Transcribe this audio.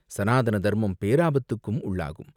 ஸநாதன தர்மம் பேராபத்துக்கும் உள்ளாகும்.